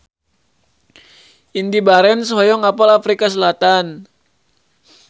Indy Barens hoyong apal Afrika Selatan